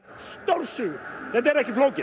stórsigur þetta er ekki flókið